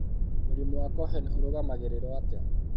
Mũrimũ wa Cohen ũrũgamagĩrĩrũo atĩa?